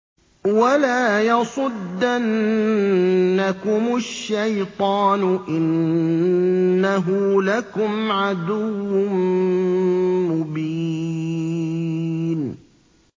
وَلَا يَصُدَّنَّكُمُ الشَّيْطَانُ ۖ إِنَّهُ لَكُمْ عَدُوٌّ مُّبِينٌ